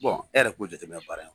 Bɔn e yɛrɛ k'o jateminɛ baara in kɔnɔ.